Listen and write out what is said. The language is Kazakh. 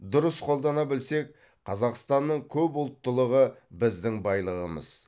дұрыс қолдана білсек қазақстанның көпұлттылығы біздің байлығымыз